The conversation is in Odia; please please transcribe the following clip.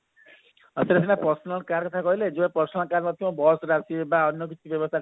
ଆପଣ ସିନା personal car କଥା କହିଲେ ଯାହାର personal car ନଥିବ bus ରେ ଆସିବେ ବା ଅନ୍ୟ କିଛି ବ୍ୟବସ୍ତା